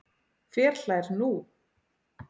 Hver hlær nú?